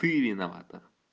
ты виновата